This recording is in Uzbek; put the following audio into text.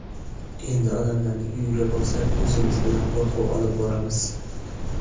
Endi odamlarning uyiga borsak, o‘zimiz bilan qo‘rquv olib boramiz.